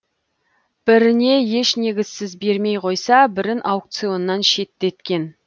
біріне еш негізсіз бермей қойса бірін аукционнан шеттеткен